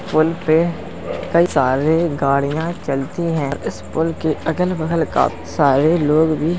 पुल पे कई सारे गाड़ियाॅं चलती हैं। इस पुल के अगल-बगल काफी सारे लोग भी --